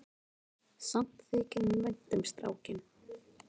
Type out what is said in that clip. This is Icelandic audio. Samt þykir honum vænt um strákinn.